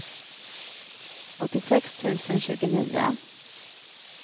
åttiosex tusen tjugonio